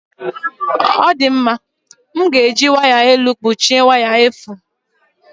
Ọ dị mma, m ga-eji waya elu kpuchie waya efu